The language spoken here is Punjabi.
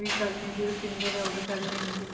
ਵੀ ਗੱਲ ਨੀ ਹੁੰਦੀ ਰੁਪਿੰਦਰ ਹੈ ਉਹ ਵੀ ਗੱਲ ਨੀ ਹੁੰਦੀ।